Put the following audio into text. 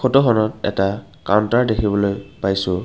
ফটোখনত এটা কাউন্তাৰ দেখিবলৈ পাইছোঁ।